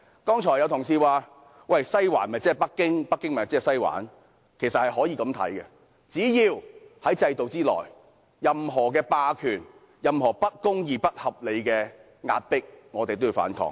剛才有同事說，"西環"就是北京，北京就是"西環"，其實，只要在制度內出現任何霸權、不公義和不合理的壓迫，我們都要反抗。